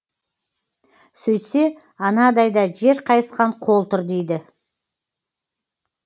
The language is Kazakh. сөйтсе анадайда жер қайысқан қол тұр дейді